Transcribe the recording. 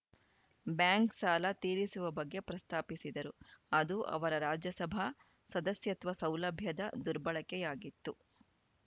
bank ಸಾಲ ತೀರಿಸುವ ಬಗ್ಗೆ ಪ್ರಸ್ತಾಪಿಸಿದರು ಅದು ಅವರ ರಾಜ್ಯಸಭಾ ಸದಸ್ಯತ್ವ ಸೌಲಭ್ಯದ ದುರ್ಬಳಕೆಯಾಗಿತ್ತು